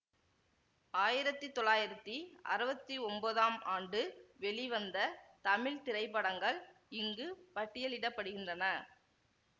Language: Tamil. ஆயிரத்தி தொள்ளாயிரத்தி அறுவத்தி ஒன்பதாம் ஆண்டு வெளிவந்த தமிழ் திரைப்படங்கள் இங்கு பட்டியலிட படுகின்றன